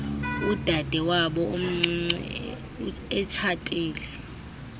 udadewabo omncinci etshatile